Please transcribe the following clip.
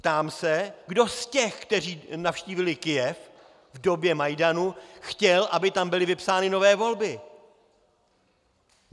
Ptám se, kdo z těch, kteří navštívili Kyjev v době Majdanu, chtěl, aby tam byly vypsány nové volby.